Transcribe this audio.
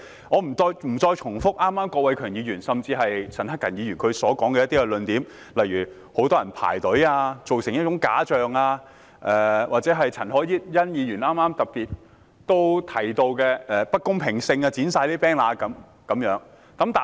我不會重複剛才郭偉强議員甚至陳克勤議員的論點，例如很多人排隊，以致造成一種假象，又或陳凱欣議員剛才特別提到出現不公平的地方，例如把 banner 全部剪掉等。